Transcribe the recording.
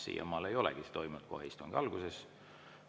Siiamaale ei olegi see toimunud kohe istungi alguses.